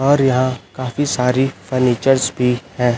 और यहां काफी सारी फर्नीचर्स भी हैं।